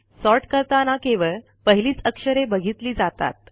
sort करताना केवळ पहिलीच अक्षरे बघितली जातात